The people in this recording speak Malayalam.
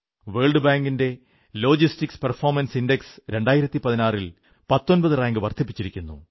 വേൾഡ് ബാങ്കിന്റെ ലോജിസ്റ്റിക്സ് പെർഫോമൻസ് ഇൻഡക്സ് 2016 ൽ 19 റാങ്ക് വർധിപ്പിച്ചിരിക്കുന്നു